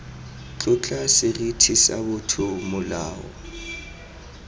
tlotla seriti sa botho molao